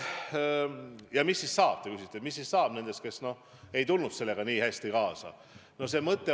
Ja mis siis saab, nagu te küsite, nendest, kes ei tulnud sellega nii hästi kaasa.